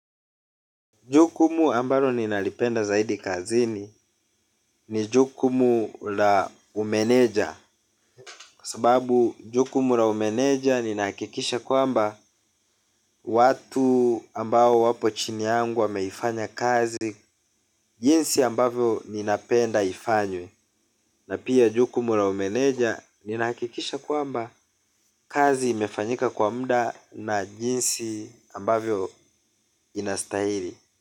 Jukumu ambalo ninalipenda zaidi kazini ni jukumu la umeneja. Kwa sababu jukumu la umeneja ninahakikisha kwamba watu ambao wapo chini yangu wameifanya kazi jinsi ambavyo ninapenda ifanywe. Na pia jukumu la umeneja ninahakikisha kwamba kazi imefanyika kwa muda na jinsi ambavyo inastahili.